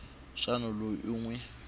xana loyi u n wi